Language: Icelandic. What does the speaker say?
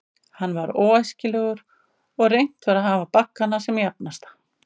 Hann var óæskilegur, og reynt var að hafa baggana sem jafnasta.